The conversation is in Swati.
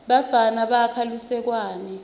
bafana bakha lusekwane